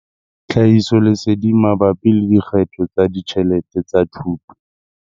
Tlhahisoleseding mabapi le dikgetho tsa ditjhelete tsa thuto.